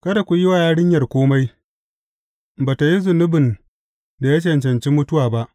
Kada ku yi wa yarinyar kome, ba tă yi zunubin da ya cancanci mutuwa ba.